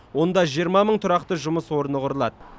онда жиырма мың тұрақты жұмыс орны құрылады